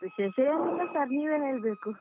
ವಿಶೇಷ ಏನಿಲ್ಲ sir , ನೀವೇ ಹೇಳ್ಬೇಕು.